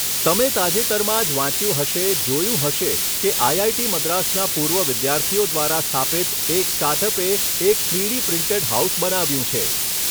તમે તાજેતરમાં જ વાંચ્યું હશે, જોયું હશે કે આઈઆઈટી મદ્રાસના પૂર્વ વિદ્યાર્થીઓ દ્વારા સ્થાપિત એક સ્ટાર્ટ અપે એક થ્રીડી પ્રિન્ટેડ હાઉસ બનાવ્યું છે.